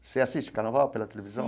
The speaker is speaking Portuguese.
Você assiste o Carnaval pela televisão?